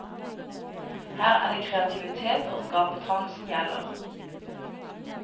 Her er det kreativitet og skapertrang som gjelder.